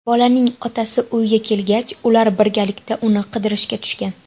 Bolaning otasi uyga kelgach, ular birgalikda uni qidirishga tushgan.